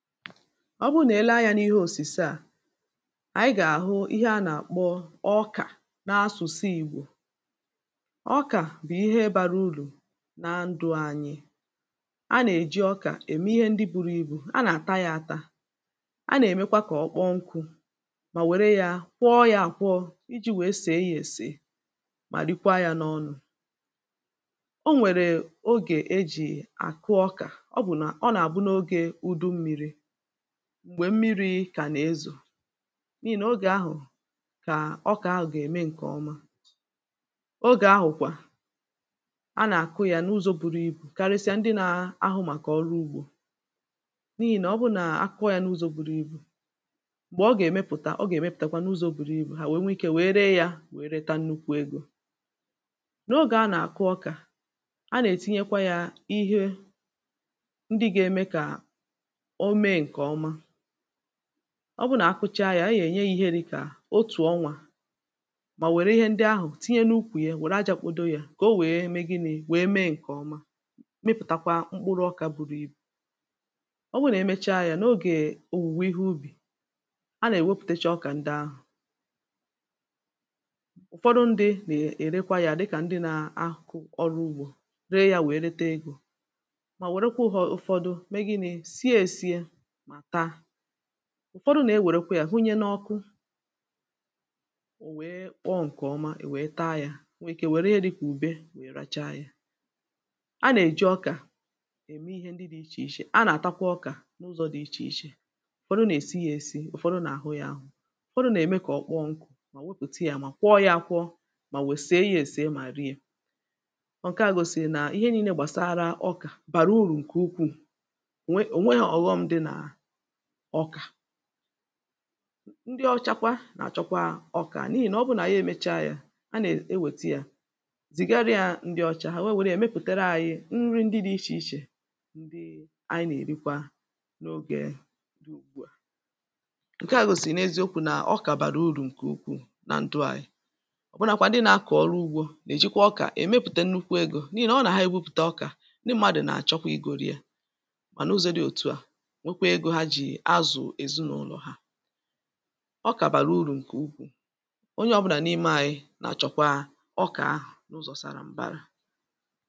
ọ bụrụ nà i lee anyā n’ihe òsùse, à ànyị gà-àhụ ihe a nà-àkpọ ọkà n’asụ̀sụ ìgbò. Okà bụ̀ ihe bārā urù na ndụ̄ ànyị̀ a nà-èji ọkà ème ihe ndị būrū ibù a nà-àtà yā ātā a nà-èmekwa kà ọ kpọọ nkụ̄ mà nwère yā kwọọ yā àkwọ ijī nwèe sèe yā èsèe mà rikwa yā n’ọnụ̄. O nwèrè ogè ejì àkụ ọkà ọ bụ̀ nà ọ nà-àbụ n’ogē ùdu mmīrī m̀gbè mmirī kà na-ezò n’ihì nà ogè ahụ̀ kà ọkà ahụ̀ gà-ème ǹkè ọma, ogè ahụ̀ kwà a nà-àkụ yā n’ụzọ̄ buru ibù karịsịa ndị nā-āhụ̄ màkà oru ugbō n’ihì nà ọ bụrụ nà ha kọọ yā n’ụzọ̄ buru ibù, m̀gbè ọ gà-èmepùta ọ gà-èmepùtakwa n’ụzọ̄ buru ibù hà nwèe nwe ikē nwèe ree yā nwèe reta nnukwu egō. N’ogè a nà-àkụ ọkà a nà-ètinye kwa yā ihe ndị gā-ēmē kà o mee ǹkè ọma, ọ bụrụ na-akụcha yā a gà-ènye ya ihe dị̄ka otù ọnwā má nwére ihe ndị ahụ̀ tinye n’ukwù ya nwère ajā kpodo yā kà o nwèe mee gịnị̄ nwèe mee ǹkè ọma mịpụ̀takwa mkpụrụ ọkā buru ibù. ọ wụ nà emecha yā n’ogè òwùwè ihe ubì a nà-èwepùteche ọkà ndị ahụ̀ ụ̀fọdụ ndị̄ nà-èrekwa yā dịkà ndị nā-ākọ̀ ọrụ ugbō ree yā nwèe rete egō mà wèrekwa ụ̄họ̄ ụ̄fọ̄dụ̄ mee gịnị̄ sie ēsiē mà taa ụ̀fọdụ nà-ewèrekwa hā hunye n’ọkụ ọ̀ kpọọ ǹkè ọma i nwèe taa yā i nwèrè ike nwère ihe dị̄kà ùbe nwèe racha yā. A nà-èji ọkà ème ihe ndị dị̄ ichè ichè, a nà-àtakwa ọkà ụ̀fọdụ nà-èsi yā ēsī, ụ̀fọdụ nà-àhụ yā āhụ̄ ụ̀fọdụ nà-ème kà ọ kpọọ nkụ̄ mà wepùte yā mà kwọọ yā ākwọ̄ mà nwè sie yā ēsiē mà rie ńke à gòsìrì nà ihe niīnē gbàsàrà ọkà bàrà urù ǹkè ukwuù, ò nwe ò nweghē ọ̀ghọm̄ dị nà ọkà ndị ọcha kwa nà-àchọkwa ọkà n’ihì nà ọ bụrụ nà ànyị èmecha yā a na-ewète yā zìgara yā ndị ọcha hà nwèe nwère yā mepùtere anyị̄ nri ndị dị̄ ichè ichè ndị anyị nà-èrikwa n’ogē ugbu, à ǹke à gòsìrì n’eziokū nà ọkà bàrà urù ǹkè ukwuù na ndụ̄ ànyị̀ ọ̀bụnākwā ndị nā-ākọ̀ ọrụ ugbō nà-èjikwa ọkà èmepùte nnukwu egō n’ihì nà ọ wụ nà ha èbupùte ọkà ndị m̄mādụ̀ nà-àchọkwa igōrō yā mà n’ụzọ̄ dị òtu à nwekwa egō ha jì azụ̀ ezìnụ̄lọ̀ ha ọkà bàrà urù ǹkè ukwuù onye ọ̄bụ̄nà n’ime ānyị̄ nà-achọkwa ọkà ahụ̀ n’ụzọ̄ sara mbara.